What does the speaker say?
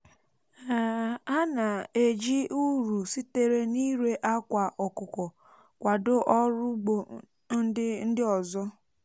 um ha um na-eji uru sitere n’ire akwa ọkụkọ kwado um ọrụ ugbo ndị ndị ọzọ